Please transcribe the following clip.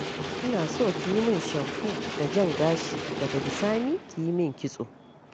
Ina son ki yi min shamfo da jan gashi, daga bisani ki yi min kitso.